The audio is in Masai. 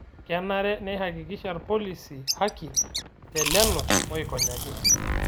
Kenare neihakikisha lpolisi haki te lelo oikonyaki